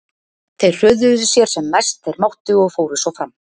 Þeir hröðuðu sér sem mest þeir máttu og fóru svo fram.